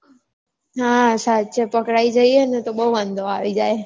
હા સાચે પકડાઈ જઈએ ને તો બૌ વાંધો આવી જાય